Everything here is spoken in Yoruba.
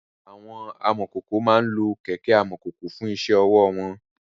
Àwọn amọ̀kòkò máa ń lo kẹ̀kẹ́ amọ̀kòkò fún iṣẹ́ ọwọ́ wọn.